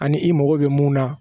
Ani i mago bɛ mun na